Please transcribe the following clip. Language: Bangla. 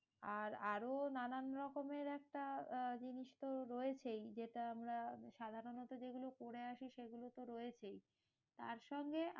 আর আরও নানান রকমের একটা আহ জিনিস তো রয়েছেই। যেটা আমরা সাধারণত যেগুলো করে আসি সেগুলো তো রয়েছেই, তারসঙ্গে